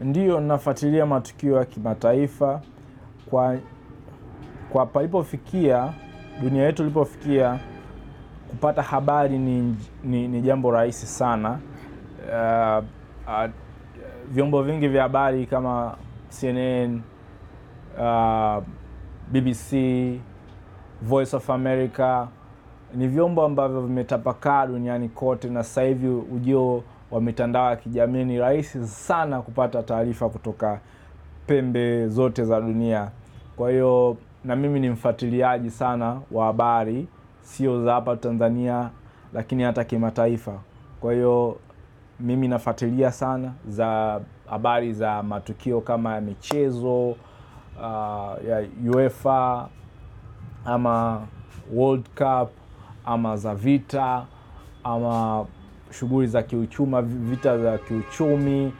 Ndiyo, nafuatilia matukio ya kimataifa, kwa palipofikia, dunia yetu ilipofikia kupata habari ni jambo rahisi sana vyombo vingi vya habari kama CNN, BBC, Voice of America, ni vyombo ambavyo vimetapakaa duniani kote na saa hivi ujio wa mitandao ya kijamii ni rahisi sana kupata taarifa kutoka pembe zote za dunia. Kwa hiyo, na mimi ni mfuatiliaji sana wa habari, siyo za hapa Tanzania, lakini hata kimataifa. Kwa hiyo, mimi nafuatilia sana habari za matukio kama michezo, ya UEFA, ama World Cup, ama za vita, ama shughuri za kiuchumi, vita za kiuchumi,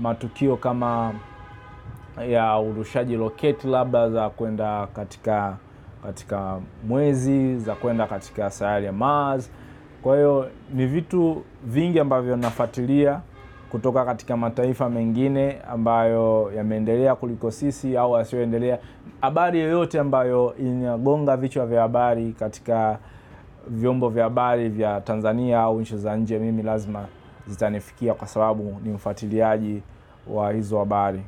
matukio kama ya urushaji rocket labda za kwenda katika mwezi, za kwenda katika sayari ya Mars. Kwa hiyo, ni vitu vingi ambavyo nafuatilia kutoka katika mataifa mengine ambayo yameendelea kuliko sisi au yasiyoendelea. Habari yoyote ambayo inagonga vichwa vya habari katika vyombo vya habari vya Tanzania au nchi za nje mimi lazima zitanifikia kwa sababu ni mfuatiliaji wa hizo habari.